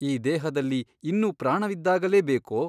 ಈ ದೇಹದಲ್ಲಿ ಇನ್ನೂ ಪ್ರಾಣವಿದ್ದಾಗಲೇ ಬೇಕೋ ?